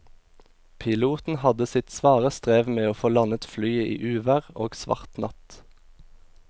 Piloten hadde sitt svare strev med å få landet flyet i uvær og svart natt.